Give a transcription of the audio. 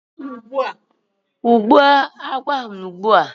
Kùgbụ́o agwọ̀ ahụ ugbu a!